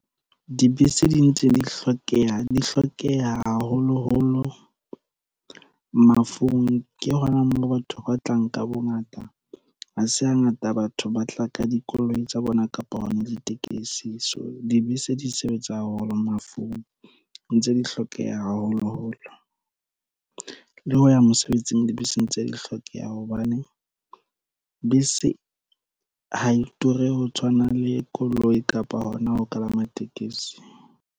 Dibese di ntse di hlokeha haholoholo mafung. Ke hona moo batho ba tlang ka bongata ha se hangata batho ba tla ka dikoloi tsa bona kapa hona ditekesi. So dibese di sebetsa haholo mafung ntse di hlokeha haholo holo le ho ya mosebetsing. Dibese ntse di hlokeha hobane bese ha e ture ho tshwana le koloi kapa hona ho kalama tekesi.